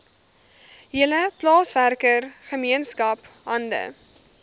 hele plaaswerkergemeenskap hande